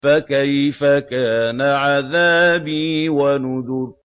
فَكَيْفَ كَانَ عَذَابِي وَنُذُرِ